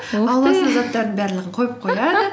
заттардың барлығын қойып қояды